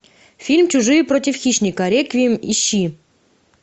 фильм чужие против хищника реквием ищи